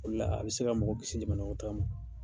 O de la a bɛ se ka mɔgɔ kiisi jamanakɔnɔtaa ma.